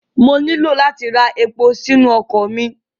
Mo ní láti ra epo sínu ọkọ̀ mi.